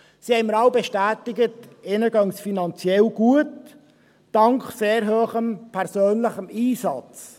Sie haben mir alle bestätigt, es gehe ihnen finanziell gut, dank sehr hohem persönlichem Einsatz.